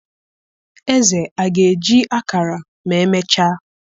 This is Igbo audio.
Eze a ga-eji ákàrà ma emechaa?